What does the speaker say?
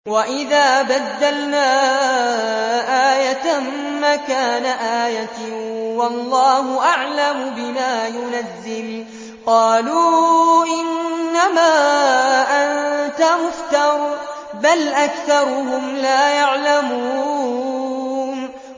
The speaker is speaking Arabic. وَإِذَا بَدَّلْنَا آيَةً مَّكَانَ آيَةٍ ۙ وَاللَّهُ أَعْلَمُ بِمَا يُنَزِّلُ قَالُوا إِنَّمَا أَنتَ مُفْتَرٍ ۚ بَلْ أَكْثَرُهُمْ لَا يَعْلَمُونَ